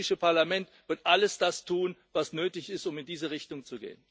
Das Europäische Parlament wird alles tun, was nötig ist, um in diese Richtung zu gehen.